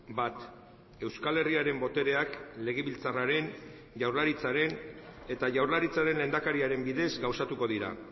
bat euskal herriaren botereak legebiltzarraren jaurlaritzaren eta jaurlaritzaren lehendakariaren bidez gauzatuko dira